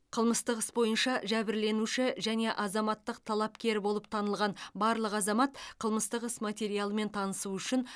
қылмыстық іс бойынша жәбірленуші және азаматтық талапкер болып танылған барлық азамат қылмыстық іс материалымен танысу үшін